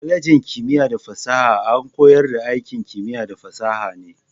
Kwalejin kimiyya da fasaha a koyar da aikin kimiyya da fasaha ne.